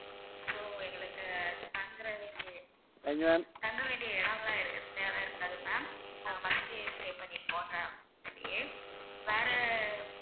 so எங்களுக்கு தங்குறதுக்கு தங்க வேண்டிய இடமெல்லாம் எங்களுக்கு தேவை இருக்காது ma'am நாங்க bus லேயே stay பண்ணிப்போங்க அப்படியே வேற